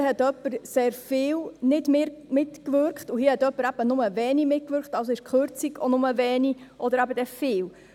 Hier hat jemand sehr viel nicht mitgewirkt, und hier hat jemand nur wenig mitgewirkt, also ist die Kürzung nur wenig oder eben dann viel.